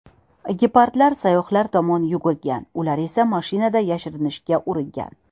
Gepardlar sayyohlar tomonga yugurgan, ular esa mashinaga yashirinishga uringan.